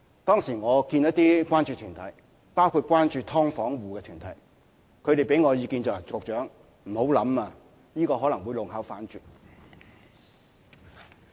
當時我與一些關注團體見面，包括關注"劏房戶"的團體。他們給我的意見是："局長，不要想了，這可能會弄巧反拙。